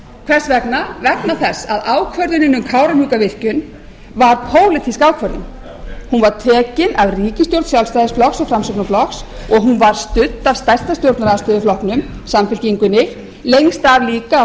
hvers vegna vegna þess að ákvörðunin um kárahnjúkavirkjun var pólitísk ákvörðun hún var tekin af ríkisstjórn sjálfstæðisflokks og framsóknarflokks og hún var studd af stærsta stjórnarandstöðuflokknum samfylkingunni lengst af líka af